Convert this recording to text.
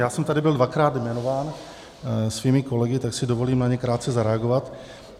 Já jsem tady byl dvakrát jmenován svými kolegy, tak si dovolím na ně krátce zareagovat.